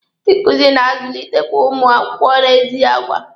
Ndị nkuzi na-azulitekwe ụmụ akwụkwọ n'ezi agwa.